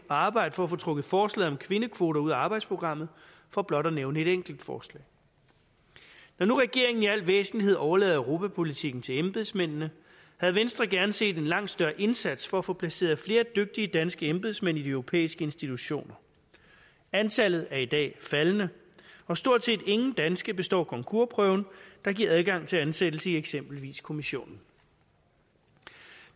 arbejde for at få trukket forslaget om kvindekvoter ud af arbejdsprogrammet for blot at nævne et enkelt forslag når nu regeringen i al væsentlighed overlader europapolitikken til embedsmændene havde venstre gerne set en langt større indsats for at få placeret flere dygtige danske embedsmænd i de europæiske institutioner antallet er i dag faldende og stort set ingen danske består concoursprøven der giver adgang til ansættelse i eksempelvis kommissionen